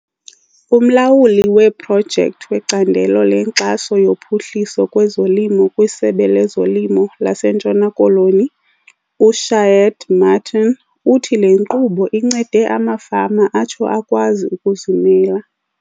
Umlawuli weeprojekthi wecandelo lenkxaso yophuhliso lwezolimo kwiSebe lezoLimo laseNtshona Koloni, uShaheed Martin, uthi le nkqubo incede amafama atsho akwazi ukuzimela.